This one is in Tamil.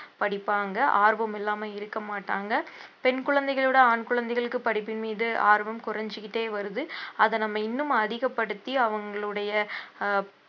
படிப்பாங்க ஆர்வம் இல்லாம இருக்கமாட்டாங்க பெண் குழந்தைகளோட ஆண் குழந்தைகளுக்கு படிப்பின் மீது ஆர்வம் குறைஞ்சுக்கிட்டே வருது அதை நம்ம இன்னும் அதிகப்படுத்தி அவங்களுடைய ஆஹ்